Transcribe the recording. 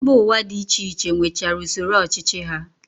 Mba Ụwa dị iche iche nwechara usoro ọchịchị ha